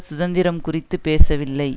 சுதந்திரம் குறித்து பேசவில்லை